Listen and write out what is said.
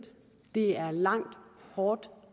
det er et langt hårdt